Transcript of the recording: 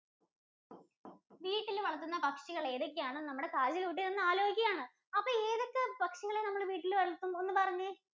വീട്ടിൽ വളർത്തുന്ന പക്ഷികൾ ഏതൊക്കെ ആണെന്ന് നമ്മുടെ കാജല്‍ കുട്ടി നിന്ന് ആലോചിക്കുകയാണ്. അപ്പൊ ഏതൊക്കെ പക്ഷികളാണ് നമ്മൾ വീട്ടിൽ വളർത്തുന്നെ? ഒന്ന് പറഞ്ഞെ.